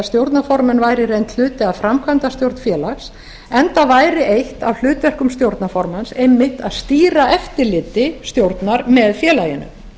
stjórnarformenn væru í reynd hluti af framkvæmdastjórn félags enda væri eitt af hlutverkum stjórnarformanns einmitt að stýra eftirliti stjórnar með félaginu